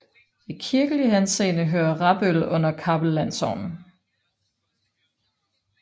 I kirkelig henseende hører Rabøl under Kappel Landsogn